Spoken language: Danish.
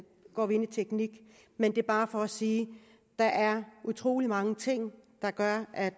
går vi ind i teknik men det er bare for at sige at der er utrolig mange ting der gør at